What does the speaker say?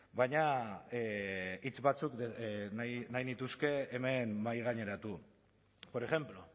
baina hitz batzuk nahi nituzke hemen mahaigaineratu por ejemplo